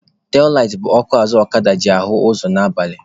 Telaitị bụ ọkụ azụ ọkada eji ahụ ụzọ n'abalị.